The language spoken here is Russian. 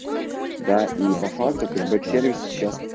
да и по факту кэшбэк сервисы сейчас